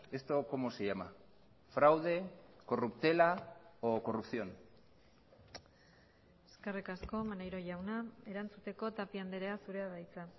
esto como se llama fraude corruptela o corrupción eskerrik asko maneiro jauna erantzuteko tapia andrea zurea da hitza